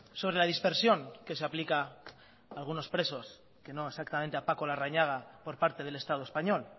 sobre la dispersión que se aplica a algunos presos que no exactamente a paco larrañaga por parte del estado español